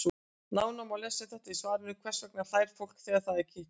Nánar má lesa um þetta í svarinu Hvers vegna hlær fólk þegar það er kitlað?